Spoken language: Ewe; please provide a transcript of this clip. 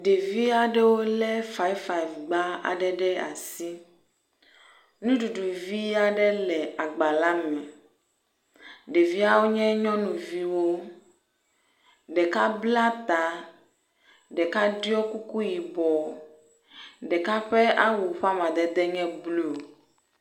Ɖevi aɖwo le ƒƒgba aɖe ɖe asi nuɖuɖu vi aɖe le agba la me. Ɖeviawo nye nyɔnuviwo, ɖeka bla ta, ɖeka ɖɔ kuku yibɔ, ɖeka ƒe awu ƒe amadede nye blu.